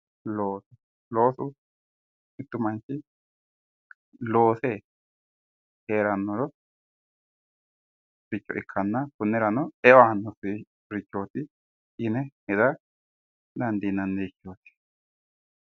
Loosu mittu manchi loose heerannori giddo ikkanna kunnirano eo aannorichooti yine dandiinanni.